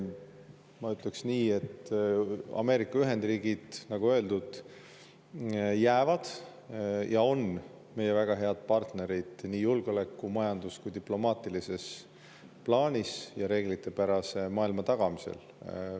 Ma ütleks nii, et Ameerika Ühendriigid, nagu öeldud, on meie väga head partnerid nii julgeoleku, majanduse kui ka diplomaatilises plaanis ja reeglitepärase maailma tagamisel.